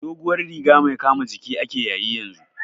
Doguwar riga mai kama jiki ake yayi yanzu